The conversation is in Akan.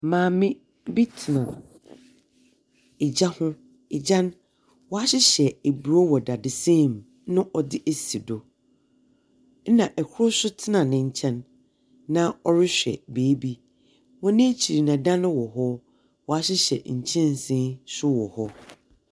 Maame bi tena egya ho, egya no, waahyehyɛ eburoo wɔ dadesɛn mu na ɔde asi do. Ɛna ɛkro so tena ne nkyɛn na ɔrehwɛ biibi. Wɔn akyiri no ɛdan wɔ hɔ, waahyehyɛ nkyɛnsen so wɔ hɔ.